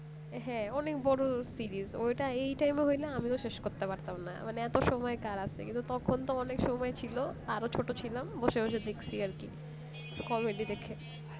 হ্যাঁ অনেক বড় series ওইটা এই time হলে আমিও শেষ করতে পারতাম না মানে এত সময় কার আছে কিন্তু তখন তো অনেক সময় ছিল ছোট ছিলাম বসে বসে দেখছি আর কি দেখে